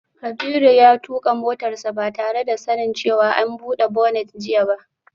Kabiru ya tuka motarsa ​​ba tare da sanin cewa an bude bonnet jiya ba